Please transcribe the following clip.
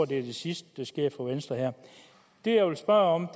det er det sidste der sker for venstre her det jeg vil spørge om